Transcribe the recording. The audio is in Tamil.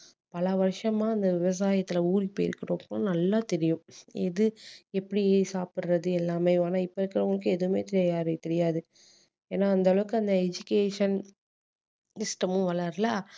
பல வருஷமா இந்த விவசாயத்துல ஊறி போய் இருக்கிறவங்களுக்கு நல்லா தெரியும் எது எப்படி சாப்பிடுறது எல்லாமே ஆனா இப்போ இருக்கிறவங்களுக்கு எதுவுமே தெரியாது ஏன்னா அந்த அளவுக்கு அந்த education system உம் வளரல